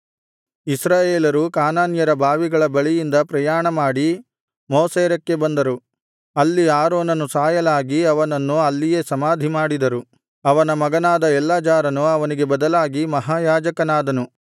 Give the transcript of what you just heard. ಇಸ್ರಾಯೇಲರು ಯಾಕಾನ್ಯರ ಬಾವಿಗಳ ಬಳಿಯಿಂದ ಪ್ರಯಾಣಮಾಡಿ ಮೋಸೇರಕ್ಕೆ ಬಂದರು ಅಲ್ಲಿ ಆರೋನನು ಸಾಯಲಾಗಿ ಅವನನ್ನು ಅಲ್ಲಿಯೇ ಸಮಾಧಿ ಮಾಡಿದರು ಅವನ ಮಗನಾದ ಎಲ್ಲಾಜಾರನು ಅವನಿಗೆ ಬದಲಾಗಿ ಮಹಾಯಾಜಕನಾದನು